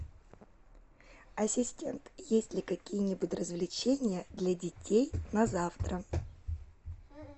ассистент есть ли какие нибудь развлечения для детей на завтра